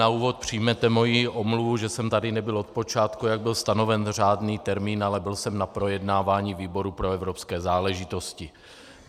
Na úvod přijměte moji omluvu, že jsem tady nebyl od počátku, jak byl stanoven řádný termín, ale byl jsem na projednávání výboru pro evropské záležitosti.